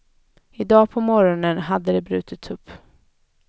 I dag på morgonen hade det brutits upp.